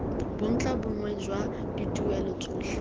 bontlha bongwe jwa dituelo tsotlhe